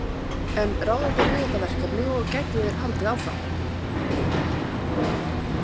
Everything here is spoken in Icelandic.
En ráða þeir við þetta verkefni og gætu þeir haldið áfram?